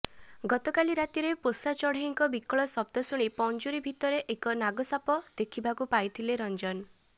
ଗତକାଲି ରାତିରେ ପୋଷା ଚଢେଇଙ୍କ ବିକଳ ଶବ୍ଦ ଶୁଣି ପଞ୍ଜୁରୀ ଭିତରେ ଏକ ନାଗସାପ ଦେଖିବାକୁ ପାଇଥିଲେ ରଞ୍ଜନ